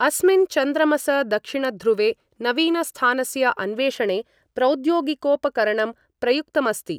अस्मिन् चन्द्रमस दक्षिणध्रुवे नवीनस्थानस्य अन्वेषणे प्रौद्योगिकोपकरणं प्रयुक्तमस्ति।